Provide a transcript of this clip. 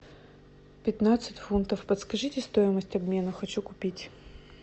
пятнадцать фунтов подскажите стоимость обмена хочу купить